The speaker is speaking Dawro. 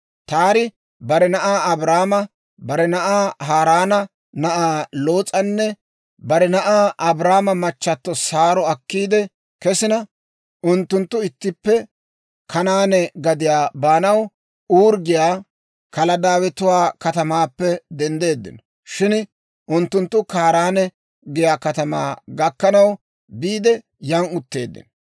Taari bare na'aa Abraama, bare na'aa Haaraana na'aa Loos'anne, bare na'aa Abraamo machchatto Saaro akkiidde kesina, unttunttu ittippe Kanaane gadiyaa baanaw Uuri giyaa Kaladaawetuwaa katamaappe denddeeddino; shin unttunttu Kaaraane giyaa katamaa gakkanaw biide, yan utteeddino.